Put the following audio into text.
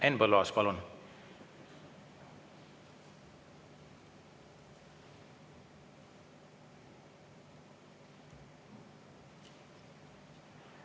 Henn Põlluaas, palun!